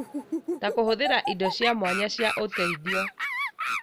ta kũhũthĩra indo cia mwanya cia ũteithio.